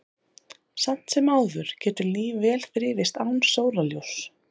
Samt sem áður getur líf vel þrifist án sólarljóss.